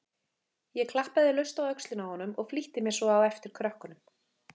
Ég klappaði laust á öxlina á honum og flýtti mér svo á eftir krökkunum.